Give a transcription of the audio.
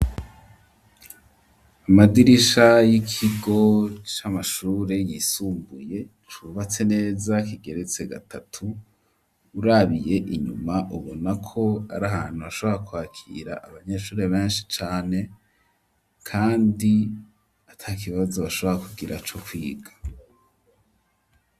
Amadirisha y'ikigo c'amashure yisumbuye, cubatse neza kigeretse gatatu, urabiye inyuma, ubona ko ari ahantu hashobora kwakira abanyeshure benshi cane, kandi atakibazo bashobora kugira co kwiga.